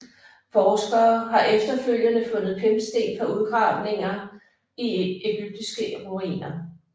Forskere har efterfølgende fundet pimpsten fra udgravninger i egyptiske ruiner